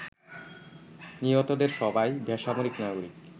নিহতদের সবাই বেসামরিক নাগরিক